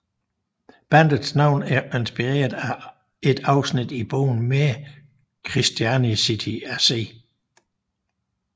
Bandets navn er inspireret af et afsnit i bogen Mere Christianity af C